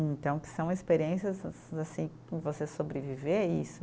Então, que são experiências assim, você sobreviver a isso.